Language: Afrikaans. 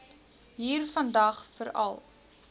hier vandag veral